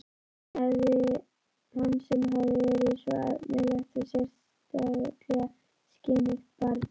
Hann sem hafði verið svo efnilegt og sérstaklega skynugt barn.